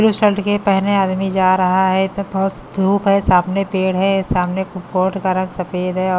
blue shirt के पहने आदमी जा रहा है तो पास धूप है सामने पेड़ है सामने कोट का रंग सफेद है और--